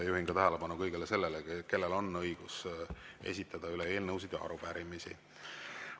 Juhin tähelepanu sellele, kellel on õigus esitada eelnõusid ja arupärimisi.